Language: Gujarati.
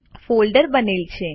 ફોલ્ડર બનેલ છે